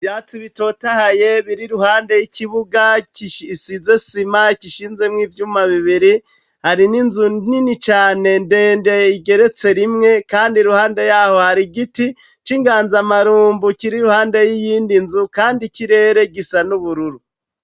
Ivyatsi bitotahaye biri iruhande y'ikibuga isize isima gishinzemwo ivyuma bibiri, hari n'inzu nini cane ndende igeretse rimwe kandi iruhande yaho hari igiti c'inganzamarumbu kiri iruhande y'iyindi nzu kandi ikirere gisa n'ubururu.